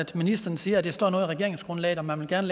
ministeren siger står noget i regeringsgrundlaget om at man gerne